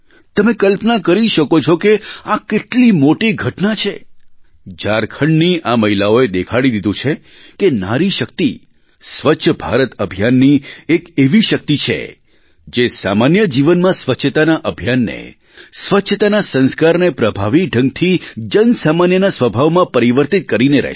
તમે કલ્પના કરી શકો છો કે આ કેટલી મોટી ઘટના છે ઝારખંડની આ મહિલાઓએ દેખાડી દીધું છે કે નારી શક્તિ સ્વચ્છ ભારત અભિયાનની એક એવી શક્તિ છે જે સામાન્ય જીવનમાં સ્વચ્છતાના અભિયાનને સ્વચ્છતાના સંસ્કારને પ્રભાવી ઢંગથી જન સામાન્યના સ્વભાવમાં પરિવર્તિત કરીને રહેશે